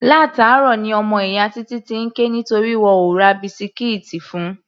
Látàárọ̀ ní ọmọ ìyá Títí ti ń ké nítorí wọn ò ra bisikíìtì fun.